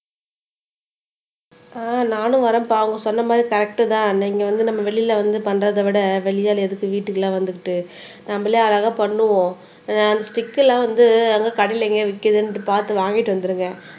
ஆஹ் நானும் வரேன்பா அவங்க சொன்ன மாதிரி கரெக்ட் தான் நீங்க வந்து நம்ம வெளியில வந்து பண்றதை விட வெளி ஆள் எதுக்கு வீட்டுக்கு எல்லாம் வந்துகிட்டு நம்மளே அழகா பண்ணுவோம் ஆஹ் அந்த ஸ்டிக் எல்லாம் வந்து எங்க கடையில எங்கேயோ விக்குதுன்னுட்டு பாத்து வாங்கிட்டு வந்துருங்க